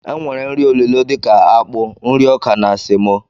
E nwere nri olilo dika akpụ, nri ọkà na semo.